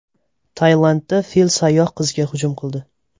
Tailandda fil sayyoh qizga hujum qildi .